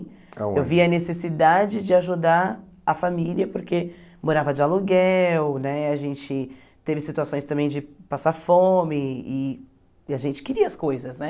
Eu vi a necessidade de ajudar a família porque morava de aluguel, né a gente teve situações também de passar fome e e a gente queria as coisas, né?